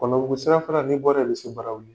Kɔnɔbugu sira fana ni bɔra ye i bɛ se Barawuli.